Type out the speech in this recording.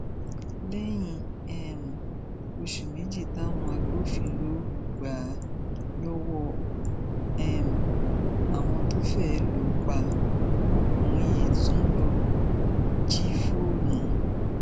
lẹyìn um oṣù méjì táwọn agbófinró gbà á lọwọ um àwọn tó fẹẹ lù ú pa ọmọkùnrin yìí tún lọọ jí fóònù